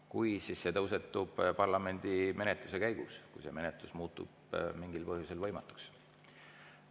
Kui, siis see tõusetub parlamendi menetluse käigus, kui menetlus muutub mingil põhjusel võimatuks.